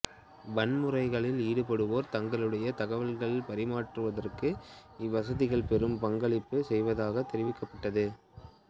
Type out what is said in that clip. வன்முறைகளில் ஈடுபட்டுள்ளோர் தங்களிடையே தகவல்களைப் பரிமாற்றுவதற்கு இவ்வசதிகள் பெரும் பங்களிப்பு செய்வதாக தெரிவிக்கப்பட்டது